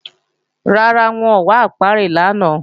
Rárá, wọn ò wá ápíárì lánàá